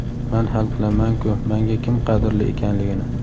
man hal qilamanku manga kim qadrli ekanligini.